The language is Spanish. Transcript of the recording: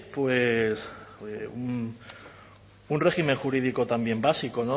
un régimen jurídico también básico